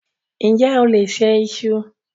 Ǹjẹ́ o lè se iṣu?